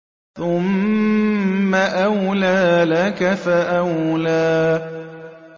ثُمَّ أَوْلَىٰ لَكَ فَأَوْلَىٰ